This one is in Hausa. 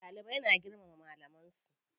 Dalibai na girmama malaman su.